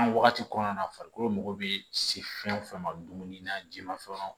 An wagati kɔnɔna na farikolo mago bɛ se fɛn o fɛn ma dumuni na ji ma fɛnw